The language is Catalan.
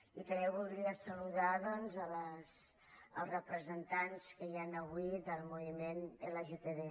i també voldria saludar els representants que hi han avui del moviment lgtb